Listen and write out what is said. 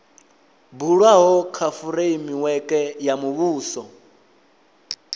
bulwaho kha fureimiweke ya muvhuso